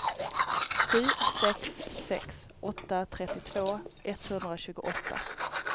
sju sex sex åtta trettiotvå etthundratjugoåtta